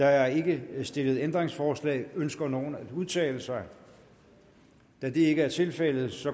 er ikke stillet ændringsforslag ønsker nogen at udtale sig da det ikke er tilfældet